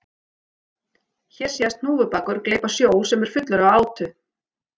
Hér sést hnúfubakur gleypa sjó sem er fullur af átu.